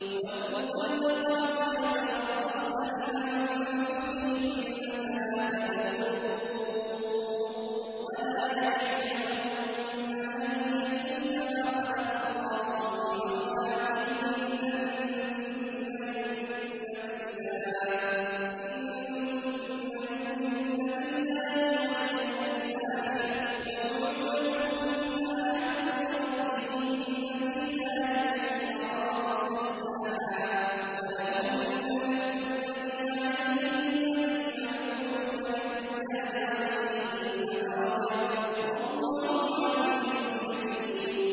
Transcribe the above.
وَالْمُطَلَّقَاتُ يَتَرَبَّصْنَ بِأَنفُسِهِنَّ ثَلَاثَةَ قُرُوءٍ ۚ وَلَا يَحِلُّ لَهُنَّ أَن يَكْتُمْنَ مَا خَلَقَ اللَّهُ فِي أَرْحَامِهِنَّ إِن كُنَّ يُؤْمِنَّ بِاللَّهِ وَالْيَوْمِ الْآخِرِ ۚ وَبُعُولَتُهُنَّ أَحَقُّ بِرَدِّهِنَّ فِي ذَٰلِكَ إِنْ أَرَادُوا إِصْلَاحًا ۚ وَلَهُنَّ مِثْلُ الَّذِي عَلَيْهِنَّ بِالْمَعْرُوفِ ۚ وَلِلرِّجَالِ عَلَيْهِنَّ دَرَجَةٌ ۗ وَاللَّهُ عَزِيزٌ حَكِيمٌ